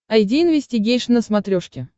айди инвестигейшн на смотрешке